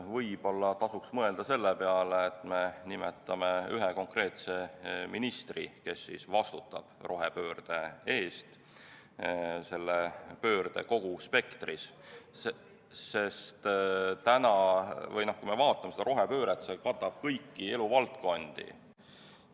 Võib-olla tasuks mõelda selle peale, et me nimetame ühe konkreetse ministri, kes vastutab rohepöörde eest selle kogu spektri ulatuses, sest kui me vaatame seda rohepööret, see katab kõiki eluvaldkondi.